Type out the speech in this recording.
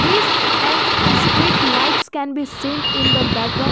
this and street lights can be seen in the background.